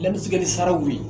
sararaw ye.